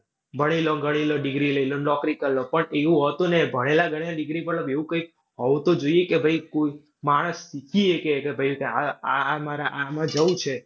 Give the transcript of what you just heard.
ભણી લો, ગણી લો, degree લઈ લો, ને નોકરી કરી લો, પણ એવું હોતું નહીં, ભણેલાં ગણેલા degree પણ એવું કંઈક હોવું તો જોઈએ કે ભૈ કોઈક માણસ કયે કે ભાઈ આ આ મારે આમાં જઉં છે.